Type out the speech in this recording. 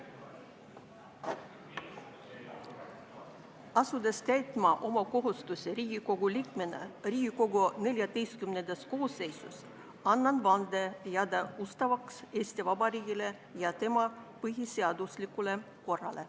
Asudes täitma oma kohustusi Riigikogu liikmena Riigikogu XIV koosseisus, annan vande jääda ustavaks Eesti Vabariigile ja tema põhiseaduslikule korrale.